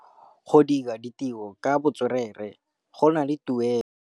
Go dira ditirô ka botswerere go na le tuelô.